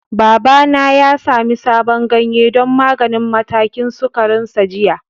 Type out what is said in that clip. Babana ya sami sabon ganye don maganin matakin sukarinsa jiya.